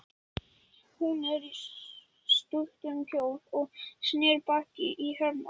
Hún var í stuttum kjól og sneri baki í Hermann.